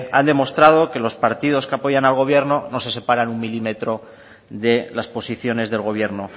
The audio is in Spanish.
han demostrado que los partidos que apoyan al gobierno no se separan un milímetros de las posiciones del gobierno